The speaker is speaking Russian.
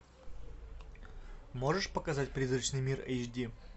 можешь показать призрачный мир эйч ди